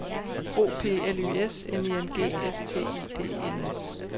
O P L Y S N I N G S T I D E N S